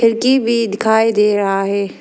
खिड़की भी दिखाई दे रहा है।